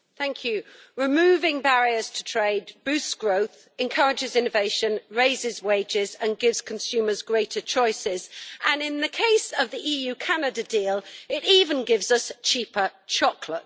Mr President, removing barriers to trade boosts growth, encourages innovation, raises wages and gives consumers greater choices, and in the case of the EU Canada deal it even gives us cheaper chocolate.